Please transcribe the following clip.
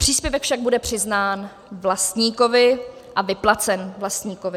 Příspěvek však bude přiznán vlastníkovi a vyplacen vlastníkovi.